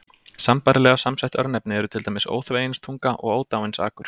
Sambærilega samsett örnefni eru til dæmis Óþveginstunga og Ódáinsakur.